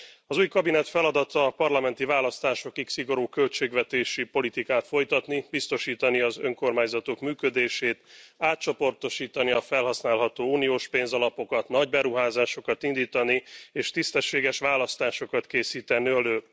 Az új kabinet feladata a parlamenti választásokig szigorú költségvetési politikát folytatni, biztosítani az önkormányzatok működését, átcsoportosítani a felhasználható uniós pénzalapokat, nagyberuházásokat indítani, és tisztességes választásokat készíteni elő.